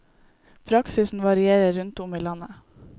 Praksisen varierer rundt om i landet.